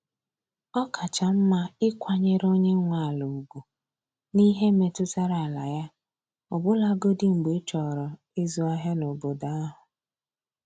Ọ kacha mma ịkwanyere onye nwe ala ugwu n’ihe metụtara ala ya, ọbụlagodi mgbe ịchọrọ izu ahịa n’obodo ahụ.